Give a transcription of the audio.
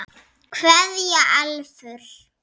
Kveðja Elfur.